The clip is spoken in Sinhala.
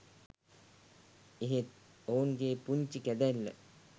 එහෙත් ඔවුන්ගේ පුංචි කැදැල්ල